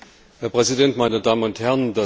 Herr Präsident, meine Damen und Herren!